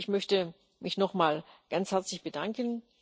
Ich möchte mich noch mal ganz herzlich bedanken.